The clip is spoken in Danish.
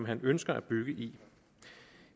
han ønsker at bygge i